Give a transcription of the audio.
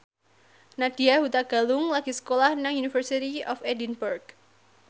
Nadya Hutagalung lagi sekolah nang University of Edinburgh